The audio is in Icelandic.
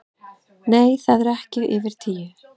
Nei, það eru ekki yfir tíu